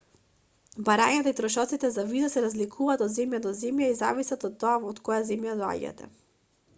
барањата и трошоците за виза се разликуваат од земја до земја и зависат од тоа од која земја доаѓате